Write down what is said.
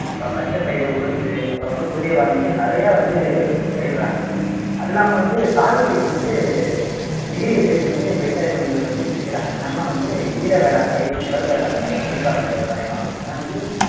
அப்புறம் பச்சை பயிறு உளுந்து அப்புறம் வந்து குதிரைவாலின்னுட்டு நிறைய வந்து பயிரிடுறாங்க அது இல்லாம வந்து சாகுபடிக்கு வந்து நீர் இருப்பை கொண்டு விவசாய முறைகளை வந்து பிரிக்கிறாங்க என்னனாலாம் வந்து ஈர வேளாண்மை உலர் வேளாண்மை நீர்ப்பாசன விவசாயம் எல்லாம் வந்து